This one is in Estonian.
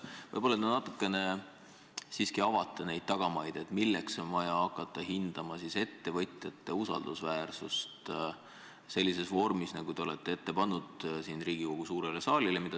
Võib-olla te natukene siiski avate neid tagamaid, et milleks on vaja hakata hindama ettevõtjate usaldusväärsust sellises vormis, nagu te olete ette pannud Riigikogu suurele saalile.